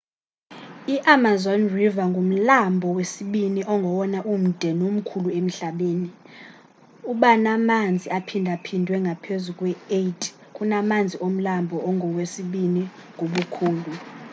i-amazon river ngumlambo wesibini ongowona umde nomkhulu emhlabeni ubanamanzi aphindaphindwe ngaphezu kwe-8 kunamanzi omlambo ongowesibini ngobukhulu